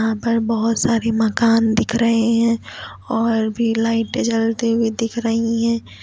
बहुत सारे मकान दिख रहे हैं और भी लाइटें जलती हुई दिख रही हैं।